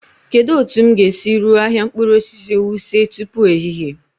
Kedu otu m ga-esi ruo ahịa mkpụrụ osisi Wuse tupu ehihie?